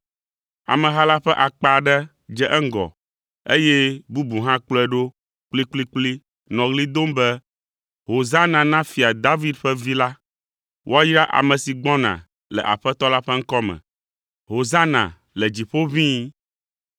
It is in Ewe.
Ameha la ƒe akpa aɖe dze eŋgɔ, eye bubu hã kplɔe ɖo kplikplikpli nɔ ɣli dom be, “Hosana na Fia David ƒe Vi la!” “Woayra ame si gbɔna le Aƒetɔ la ƒe ŋkɔ me!” “Hosana le dziƒo ʋĩi!”